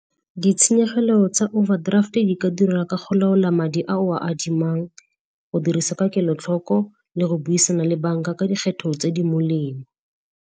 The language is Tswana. Ditshenyegelo tsa overdraft-e di ka dira ka go laola madi a o a adimang, go dirisa ka kelotlhoko le go buisana le banka ka dikgetho tse di molemo.